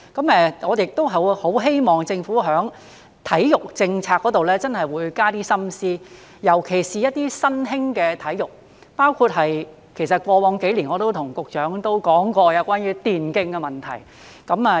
我很希望政府在體育政策真的會多加一點心思，尤其是一些新興的體育，包括我過往數年也對局長說過關於電競的問題。